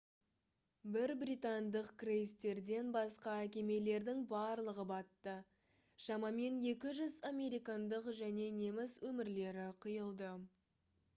бір британдық крейсерден басқа кемелердің барлығы батты шамамен 200 американдық және неміс өмірлері қиылды